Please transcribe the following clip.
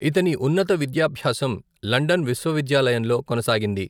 ఇతని ఉన్నత విద్యాభ్యాసం లండన్ విశ్వవిద్యాలయంలో కొనసాగింది.